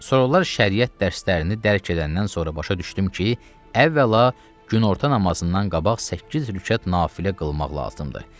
Sonra da şəriət dərslərini dərk eləyəndən sonra başa düşdüm ki, əvvəla günorta namazından qabaq səkkiz rükət nafilə qılmaq lazımdır.